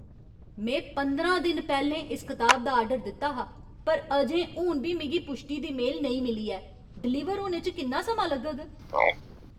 में पंदरां दिन पैह्लें इस कताब दा आर्डर दित्ता हा पर अजें हून बी मिगी पुश्टी दी मेल नेईं मिली ऐ। डिलीवर होने च किन्ना समां लग्गग?